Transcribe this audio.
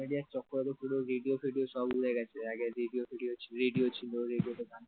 social media চক্করে পুরো radio ফেডিও সব উড়ে গেছে আগে রেডিও ফেডিও ছিল রেডিও ছিল রেডিওতে গান